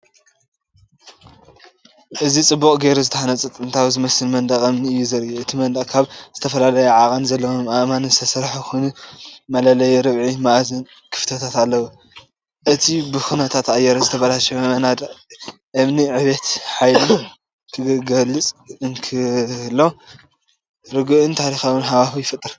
እዚ ጽቡቕ ጌሩ ዝተሃንጸን ጥንታዊ ዝመስልን መንደቕ እምኒ እዩ ዘርኢ። እቲ መንደቕ ካብ ዝተፈላለየ ዓቐን ዘለዎም ኣእማን ዝተሰርሐ ኮይኑ መለለዪኡ ርብዒ-መኣዝን ክፈትታት ኣለዎ። እቲ ብኹነታት ኣየር ዝተበላሸወ መናድቕ እምኒ ዕቤትን ሓይልን ክገልጽ እንከሎ ርጉእን ታሪኻውን ሃዋህው ይፈጥር።